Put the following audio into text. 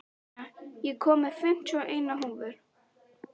Stína, ég kom með fimmtíu og eina húfur!